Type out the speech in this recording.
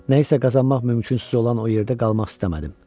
Nə isə qazanmaq mümkünsüz olan o yerdə qalmaq istəmədim.